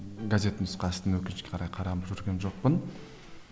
газет нұсқасын өкінішке қарай қарап жүрген жоқпын